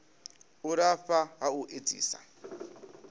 u lafha ha u edzisa